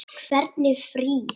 Hvernig frí.